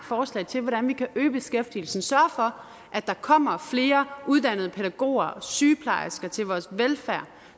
forslag til hvordan vi kan øge beskæftigelsen sørge for at der kommer flere uddannede pædagoger og sygeplejersker til vores velfærd